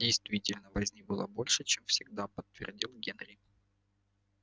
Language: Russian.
действительно возни было больше чем всегда подтвердил генри